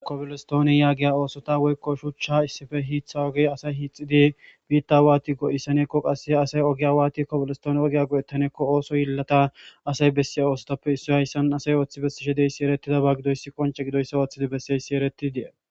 Kopolistooni yaagiya oosota woykko shuchcha issife hiitha oge asay hiixidi biitta waati go'issaneekko qassee asay ogiya waati kopilistoone ogiya go'ettaneekko ooso yillata asay bessiya oosotoppe issoy hayssan asay ooththi bessishe dey si erettida ba gidoyssi qonce gidoyssa ooththidi besseyssi ereti dee.